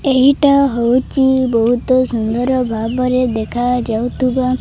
ଏହିଟା ହୋଉଚି ବୋହୁତ ସୁନ୍ଦର ଭାବରେ ଦେଖାଯାଉଥୁବା।